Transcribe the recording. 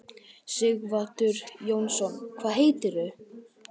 Sighvatur Jónsson: Hvað heitir þú?